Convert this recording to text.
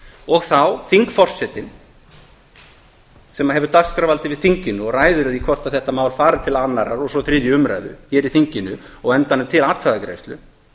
og þá þingforsetinn sem hefur dagskrárvald yfir þinginu og ræður því hvort þetta mál fari til annarrar og svo þriðju umræðu hér í þinginu og á endanum til atkvæðagreiðslu